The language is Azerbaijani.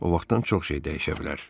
O vaxtdan çox şey dəyişə bilər.